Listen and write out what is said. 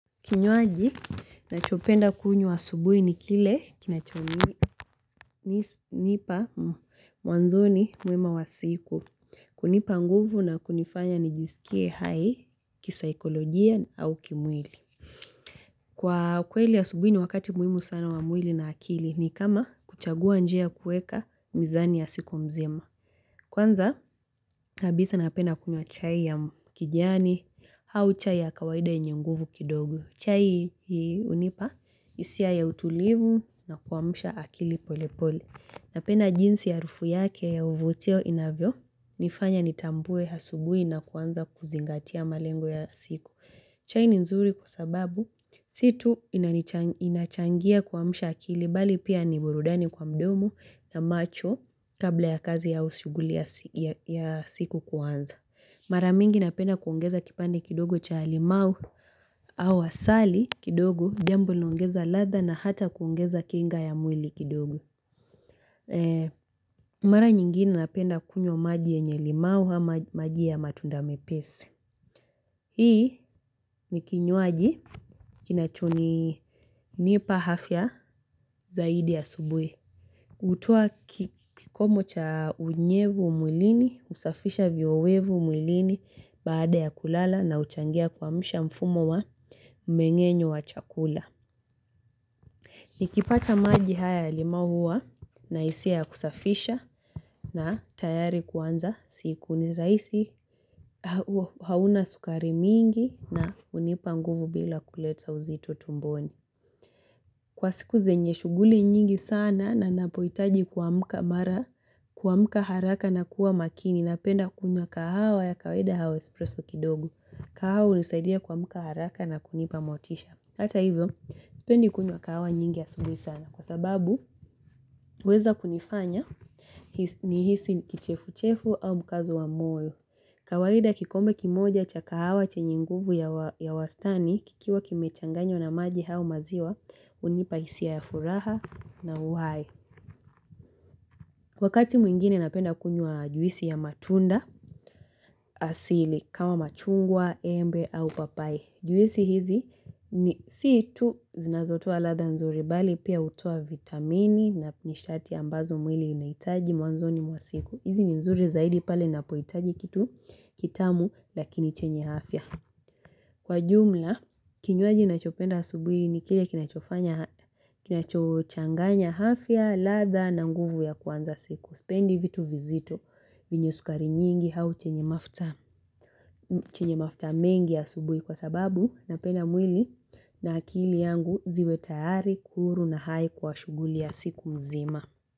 Kinyoaji, nachopenda kunyuwa asubuhi ni kile, kinachonipa mwanzoni mwema wa siku, kunipa nguvu na kunifanya nijisikie hai, kisaikolojia au kimwili. Kwa kweli asubuhi ni wakati muwimu sana wa mwili na akili ni kama kuchagua njia kueka mizani ya siku mzima. Kwanza, habisa napenda kunyua chai ya kijani, hau chai ya kawaida yenye nguvu kidogo. Chai unipa isia ya utulivu na kuwamusha akili pole pole. Napenda jinsi yarufu yake ya uvutio inavyo, nifanya nitambue hasubui na kuwanza kuzingatia malengo ya siku. Chai ni nzuri kusababu si tu inachangia kwamsha akili bali pia niburudani kwa mdomo na macho kabla ya kazi au usuguli ya siku kuanza. Maramingi napenda kuongeza kipande kidogo cha limau au wasali kidogo, jambu linongeza ladha na hata kuongeza kinga ya mwili kidogo. Mara nyingine napenda kunyua maji enye limau hama maji ya matunda mepesi. Hii ni kinyuaji kinachonipa hafya zaidi ya subuwi Utua kikomo cha unyevu umwilini, usafisha viowevu mwilini baada ya kulala na uchangia kwamsha mfumo wa mengenyo wa chakula Nikipata maji haya ya limau huwa naisiya kusafisha na tayari kuanza siku ni raisi hauna sukari mingi na unipa nguvu bila kuleta uzito tumboni Kwa siku zenye shuguli nyingi sana na napoitaji kwamuka mara Kwamuka haraka na kuwa makini napenda kunya kahawa ya kawaida hawa espresso kidogo kahawa unisaidia kwamuka haraka na kunipa motisha Hata hivyo, spendi kunya kahawa nyingi asubui sana Kwa sababu, uweza kunifanya nihisi kichefu-chefu au mkazo wa moyo kawaida kikombe kimoja cha kahawa chenye nguvu ya wastani kikiwa kimechanganyo na maji hau maziwa unipahisiya ya furaha na uhaye. Wakati mwingine napenda kunyua juisi ya matunda asili kawa machungwa, embe au papaye. Juisi hizi ni situ zinazotua latha nzuri bali pia utua vitamini na pinishati ambazo mwili inaitaji mwanzoni mwasiku. Hizi nzuri zaidi pale napoitaji kitu kitamu lakini chenye hafya. Kwa jumla, kinyuaji nachopenda asubui ni kile kinachochanganya hafya latha na nguvu ya kwanza siku. Spendi vitu vizito vinye sukari nyingi hau chenye mafta mengi asubui kwa sababu na penda mwili na akili yangu ziwe tayari, huru na hai kwa shuguli ya siku mzima.